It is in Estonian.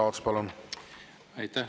Aitäh!